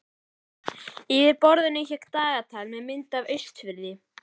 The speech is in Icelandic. Yfir borðinu hékk dagatal með mynd af Austurfirði.